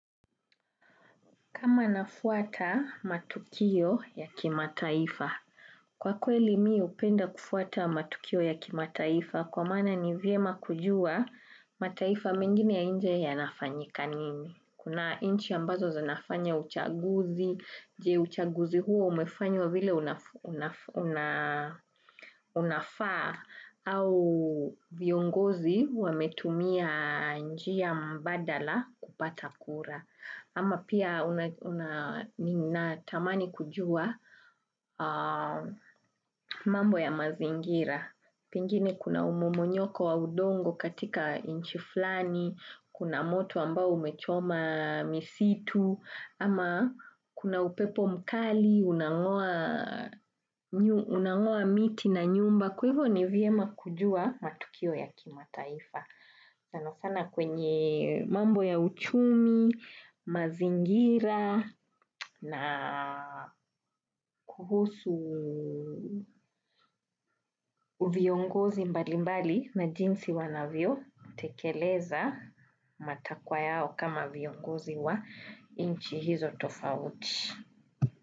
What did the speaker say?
Kama nafuata matukio ya kimataifa, kwa kweli mii upenda kufuata matukio ya kimataifa kwa maana ni viema kujua mataifa mengine ya nje yanafanyika nini. Kuna nchi ambazo zinafanya uchaguzi, je uchaguzi huo umefanywa vile unafaa au viongozi wametumia njia mbadala kupata kura. Ama pia unatamani kujua mambo ya mazingira. Pengine kuna umomonyoko wa udongo katika nchi flani, kuna moto ambao umechoma misitu, ama kuna upepo mkali, unangoa miti na nyumba. Kwa hivo ni viema kujua matukio ya kimataifa. Sana sana kwenye mambo ya uchumi, mazingira na kuhusu viongozi mbali mbali na jinsi wanavyo tekeleza matakwa yao kama viongozi wa inchi hizo tofauti.